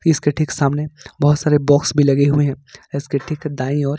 इसके ठीक सामने बहुत सारे बॉक्स लगे हुए हैं इसके ठीक दाएं ओर--